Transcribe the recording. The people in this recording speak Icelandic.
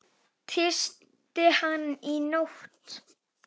Tísti hann í nótt?